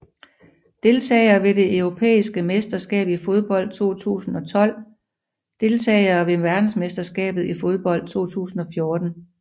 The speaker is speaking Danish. Deltagere ved det europæiske mesterskab i fodbold 2012 Deltagere ved verdensmesterskabet i fodbold 2014